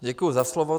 Děkuji za slovo.